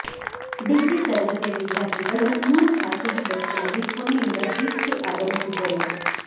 degree ತರಗತಿಯ ವಿದ್ಯಾರ್ಥಿಗಳು ಮೂರು ಖಾಸಗಿ ಬಸ್ಗಳಲ್ಲಿ ಪುಣೆಯಿಂದ ಬೀಚ್ಗೆ ಆಗಮಿಸಿದ್ದರು